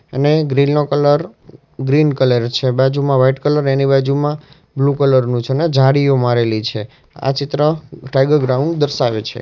એને ગ્રીલ નો colour green colour છે બાજુમાં વાઈટ કલર એની બાજુમાં બ્લુ કલર નું છે ને જાડીઓ મારેલી છે આ ચિત્ર ટાઈગર ગ્રાઉન્ડ દર્શાવે છે.